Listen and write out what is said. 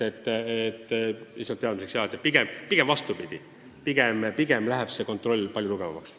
Lihtsalt teile teadmiseks, et pigem läheb kontroll palju tugevamaks.